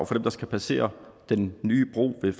dem der skal passere den nye bro ved